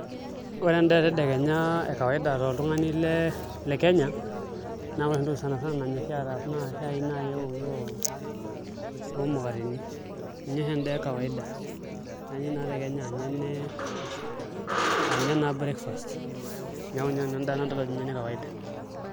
Ore endaa etedekenya ekawaida toltung'ani le Kenya naa ore oshi entoki sani sana nanyorri ataas shaai naai eoki oo omukateni ninye oshi endaa ekawaida neeku naa te Kenya aa inye naa breakfast neeku inye nanu endaa nadol ajo ene kawaida.